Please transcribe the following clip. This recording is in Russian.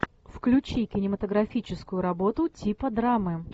включи кинематографическую работу типа драмы